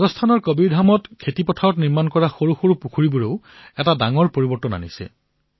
ৰাজস্থানৰ কবীৰধামত খেতিসমূহত নিৰ্মাণ কৰা সৰু পুখুৰীৰ দ্বাৰা এক বৃহৎ পৰিৱৰ্তন হৈছে